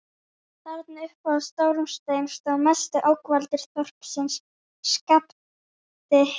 Þarna uppi á stórum steini stóð mesti ógnvaldur þorpsins: SKAPTI